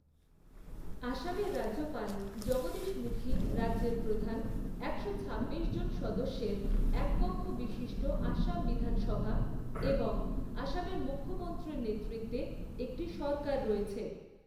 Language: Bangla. আসামের রাজ্যপাল জগদীশ মুখী রাজ্যের প্রধান, একশো ছাব্বিশ জন সদস্যের এককক্ষ বিশিষ্ট আসাম বিধানসভা এবং আসামের মুখ্যমন্ত্রীর নেতৃত্বে একটি সরকার রয়েছে।